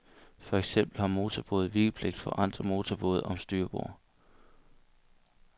For eksempel har motorbåde vigepligt for andre motorbåde om styrbord.